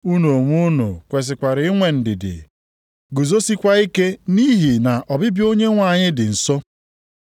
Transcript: Unu onwe unu kwesikwara inwe ndidi guzosiekwa ike nʼihi na ọbịbịa Onyenwe anyị dị nso.